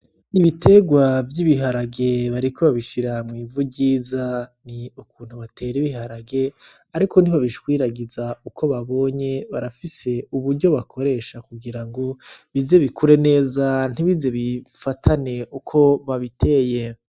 Ibiterwa vy'ibiharage bariko babishira mw'ivu ryiza, ni ukuntu batera ibiharage ariko ntibabishwiragiza uko babonye, barafise uburyo bakoresha kugira ngo bize bikure neza ntibize bifatane uko babiteye.